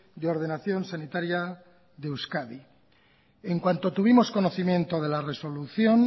de ordenación sanitaria de euskadi en cuanto tuvimos conocimiento de la resolución